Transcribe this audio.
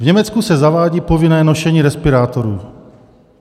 V Německu se zavádí povinné nošení respirátorů.